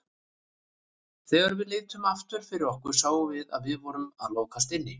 Þegar við litum aftur fyrir okkur sáum við að við vorum að lokast inni.